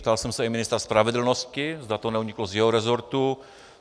Ptal jsem se i ministra spravedlnosti, zda to neuniklo z jeho rezortu.